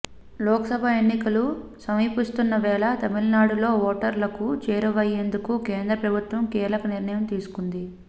లోక్సభ ఎన్నికలు సమీపిస్తున్న వేళ తమిళనాడులో ఓటర్లకు చేరువయ్యేందుకు కేంద్ర ప్రభుత్వం కీలక నిర్ణయం తీసుకుంది